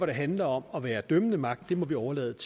det handler om at være dømmende magt har vi overladt